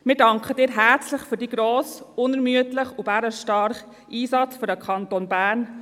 Wir danken Ihnen herzlich für Ihren grossen, unermüdlichen und bärenstarken Einsatz für den Kanton Bern.